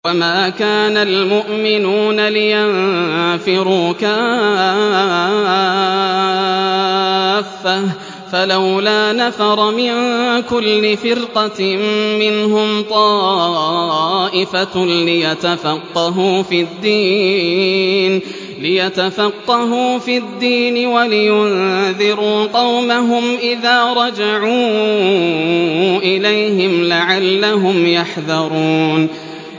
۞ وَمَا كَانَ الْمُؤْمِنُونَ لِيَنفِرُوا كَافَّةً ۚ فَلَوْلَا نَفَرَ مِن كُلِّ فِرْقَةٍ مِّنْهُمْ طَائِفَةٌ لِّيَتَفَقَّهُوا فِي الدِّينِ وَلِيُنذِرُوا قَوْمَهُمْ إِذَا رَجَعُوا إِلَيْهِمْ لَعَلَّهُمْ يَحْذَرُونَ